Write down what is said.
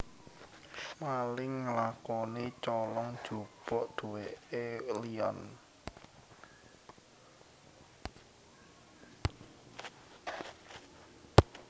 Maling ngelakoni colong jupuk duweke liyan